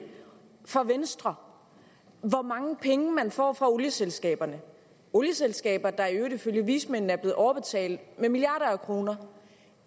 for venstre hvor mange penge man får fra olieselskaberne olieselskaber der i øvrigt ifølge vismændene er blevet overbetalt med milliarder af kroner